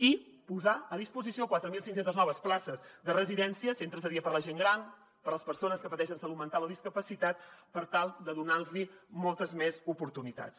i posar a disposició quatre mil cinc cents noves places de residència centres de dia per a la gent gran per a les persones que pateixen de salut mental o discapacitat per tal de donar los moltes més oportunitats